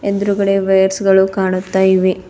ಎದ್ರುಗಡೆ ವೈಯರ್ಸ್ ಗಳು ಕಾಣುತ್ತಾ ಇವೆ.